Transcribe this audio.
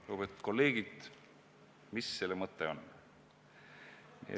Lugupeetud kolleegid, mis selle mõte on?